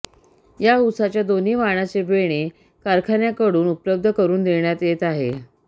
या उसाच्या दोन्ही वाणाचे बेणे कारखान्याकडून उपलब्ध करून देण्यात येत आहे